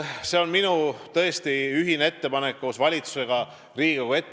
See on tõesti minu ettepanek koos valitsusega Riigikogule.